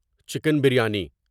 chicken biryani